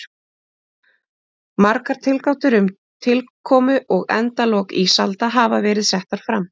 Margar tilgátur um tilkomu og endalok ísalda hafa verið settar fram.